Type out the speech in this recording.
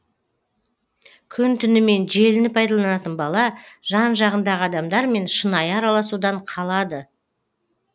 күн түнімен желіні пайдаланатын бала жан жағындағы адамдармен шынайы араласудан қалады